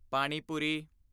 ਪਾਣੀ ਪੂਰੀ